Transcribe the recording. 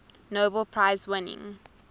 nobel prize winning